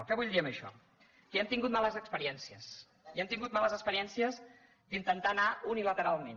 què vull dir amb això que hem tingut males experiències i hem tingut males experiències d’intentar anar uni lateralment